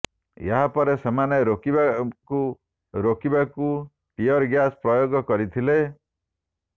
ଏହାପରେ ସେମାନଙ୍କୁ ରୋକିବାକୁ ରୋକିବାକୁ ଟିୟର ଗ୍ୟାସ୍ ପ୍ରୟୋଗ କରିଥିଲା